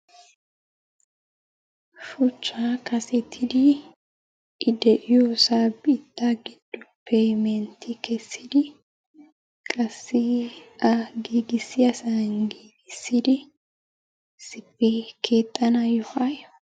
Shuchchaa kasettidi I de'iyosa biittaa giddoppe mentti kessidi qassi a giggissaysan giggissidi issippe keexanaayo..